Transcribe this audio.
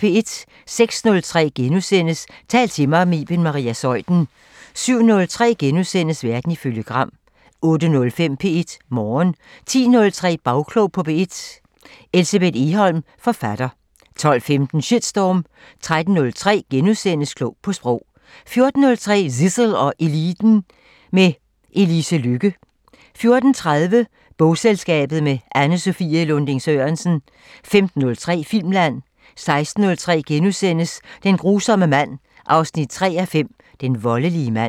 06:03: Tal til mig – med Iben Maria Zeuthen * 07:03: Verden ifølge Gram * 08:05: P1 Morgen 10:03: Bagklog på P1: Elsebeth Egholm, forfatter 12:15: Shitstorm 13:03: Klog på Sprog * 14:03: Zissel og Eliten: Med Elise Lykke 14:30: Bogselskabet – med Anne-Sophie Lunding-Sørensen 15:03: Filmland 16:03: Den grusomme mand 3:5 – Den voldelige mand *